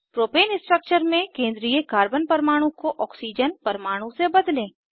propane structure में केंद्रीय carbon परमाणु को ऑक्सीजन परमाणु से बदलें